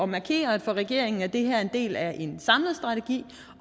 markere at for regeringen er det her en del af en samlet strategi